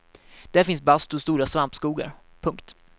Där finns bastu och stora svampskogar. punkt